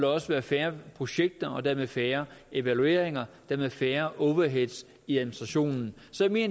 også være færre projekter og dermed færre evalueringer og dermed færre overheads i administrationen så jeg